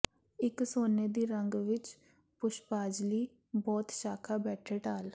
ਇੱਕ ਸੋਨੇ ਦੀ ਰੰਗ ਵਿੱਚ ਪੁਸ਼ਪਾਜਲੀ ਬੋਹੜ ਸ਼ਾਖਾ ਬੈਠੇ ਢਾਲ